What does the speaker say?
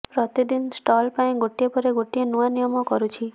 ପ୍ରତିଦିନ ଷ୍ଟଲ ପାଇଁ ଗୋଟିଏ ପରେ ଗୋଟିଏ ନୂଆ ନିୟମ କରୁଛି